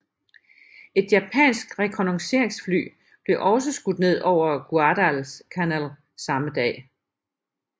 Et japansk rekognosceringsfly blev også skudt ned over Guadalcanal samme dag